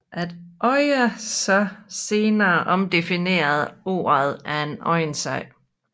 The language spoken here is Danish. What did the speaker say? At andre så senere omdefinerede ordet er en anden sag